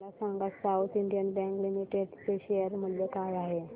मला सांगा South Indian Bank Limited चे शेअर मूल्य काय आहे